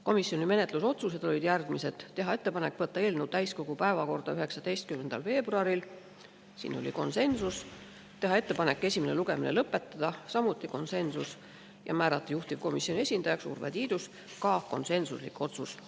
Komisjoni menetlusotsused olid järgmised: teha ettepanek võtta eelnõu täiskogu päevakorda 19. veebruaril, siin oli konsensus, teha ettepanek esimene lugemine lõpetada, samuti konsensus, ja määrata juhtivkomisjoni esindajaks Urve Tiidus, ka konsensuslik otsus.